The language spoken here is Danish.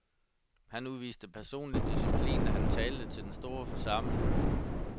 Han udviste personlig disciplin, da han talte til den store forsamling.